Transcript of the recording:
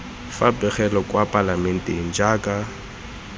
fa pegelo kwa palamenteng jaaka